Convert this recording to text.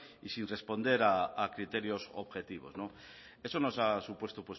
y sin responder a criterios objetivos eso nos ha supuesto